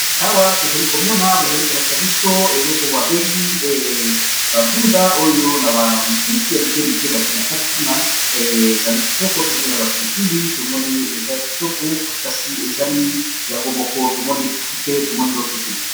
Awa tozalikomona bazalikolakisabiso eloko babengi ba ndunda oyo naba mbisi ya mukemuke batiye nakati kuna ezalikito tomoni naba pilipili tomoni ezalikitoko kasi ezali yangomoko tomoni fufu te tomoni loso te